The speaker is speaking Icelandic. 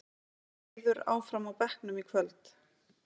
Eiður áfram á bekknum í kvöld